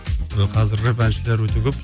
қазір рэп әншілер өте көп